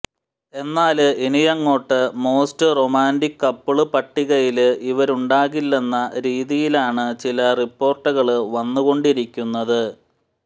എന്നാല് ഇനിയങ്ങോട്ട് most romantic couple പട്ടികയില് ഇവരുണ്ടാകില്ലെന്ന രീതിയിലാണ് ചില റിപ്പോര്ട്ടുകള് വന്നുകൊണ്ടിരിക്കുന്നത്